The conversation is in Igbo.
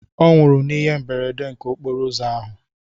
Ọnwụrụ n'ihe mberede nke okporo ụzọ ahụ